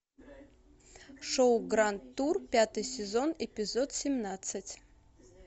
шоу гранд тур пятый сезон эпизод семнадцать